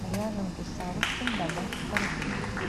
ряженку савушкин добавь в корзину